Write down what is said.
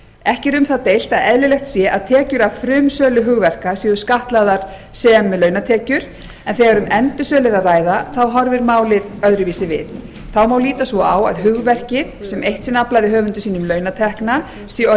ekki er um það deilt að eðlilegt sé að tekjur af frumsölu hugverka séu skattlagðar sem launatekjur en þegar um endursölu er að ræða horfir málið öðruvísi við þá má líta svo á að hugverkið sem eitt sinn aflaði höfundi sínum launatekna sé orðið